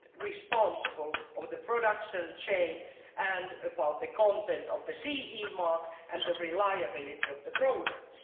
responsible for the production chain and the content of the CE mark and the reliability of their products.